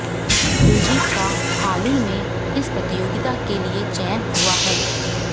कुलजीत का हाल ही में इस प्रतियोगिता के लिए चयन हुआ है